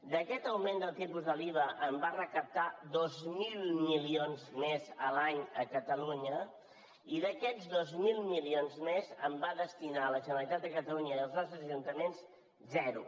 d’aquest augment del tipus de l’iva en va recaptar dos mil milions més l’any a catalunya i d’aquests dos mil milions més en va destinar a la generalitat de catalunya i als nostres ajuntaments zero